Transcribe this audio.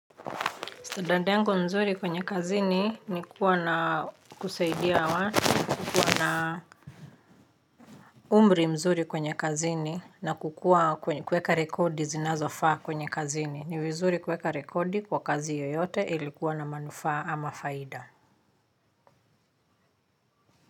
Sada dango mzuri kwenye kazini ni kuwa na kusaidia watu, kuwa na umbri mzuri kwenye kazini na kuweka rekodi zinazofaa kwenye kazini. Ni vizuri kuweka rekodi kwa kazi yoyote ilikuwa na manufaa ama faida.